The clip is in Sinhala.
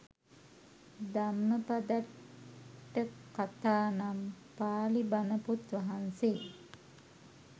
ධම්මපදට්ඨකථා නම් පාලි බණ පොත් වහන්සේ